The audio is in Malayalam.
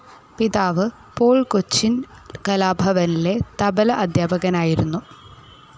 പിതാവ്‌ പോൾ കൊച്ചിൻ കലാഭവനിലെ തബ്ല അദ്ധ്യാപകനായിരുന്നു.